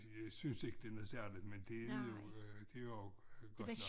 Jeg synes ikke det noget særligt men det er jo det jo godt nok